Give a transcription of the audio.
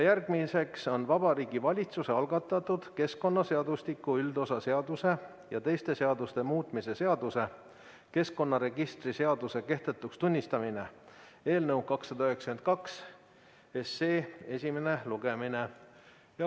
Järgmine on Vabariigi Valitsuse algatatud keskkonnaseadustiku üldosa seaduse ja teiste seaduste muutmise seaduse eelnõu 292 esimene lugemine.